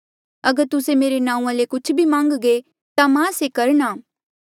अगर तुस्से मेरे नांऊँआं ले कुछ भी मान्घगे ता मां से करणा